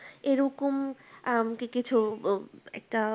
এরকম আহ কি কিছু একটা।